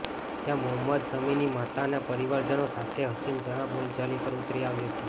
જ્યાં મોહમ્મદ શમીની માતા અને પરિવારજનો સાથે હસીન જહા બોલાચાલી પર ઉતરી આવી હતી